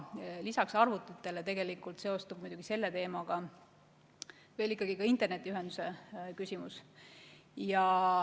Lisaks arvutitele seostub muidugi selle teemaga ka internetiühenduse küsimus.